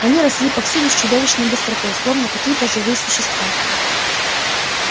они росли повсюду с чудовищной быстротой словно какие-то живые существа